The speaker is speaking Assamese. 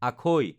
আখৈ